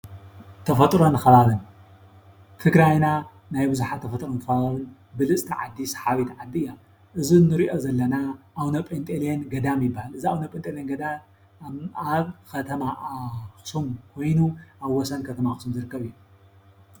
ተፈጥሮን ከባብን ትግራይና ናይ ብዙሓት ተፈጥሮን ከባብን ብልፅቲ ዓዲ ሰሓቢት ዓዲ እያ ።እዚ ንሪኦ ዘለና ኣቡነ ጴንጤሌዎን ገዳም ይባሃል። እዚ ኣቡነ ጴንጤሌዎን ገዳም ኣብ ከተማ ኣክሱም ኮይኑ ኣብ ወሰን ከተማ ኣክሱም ዝርከብ አዩ።